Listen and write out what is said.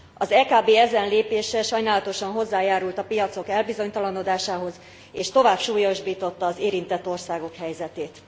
Az EKB ezen lépése sajnálatosan hozzájárult a piacok elbizonytalanodásához és tovább súlyosbította az érintett országok helyzetét.